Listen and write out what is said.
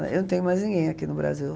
Eu não tenho mais ninguém aqui no Brasil.